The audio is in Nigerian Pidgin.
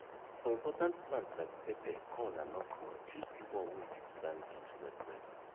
for important plant like pepper corn and okro choose di one wey fit stand heat well well